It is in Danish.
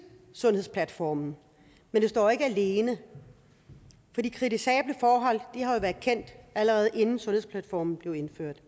sundhedsplatformen men det står ikke alene for de kritisable forhold har jo været kendt allerede inden sundhedsplatformen blev indført